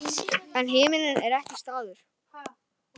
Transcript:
En himinninn er ekki staður.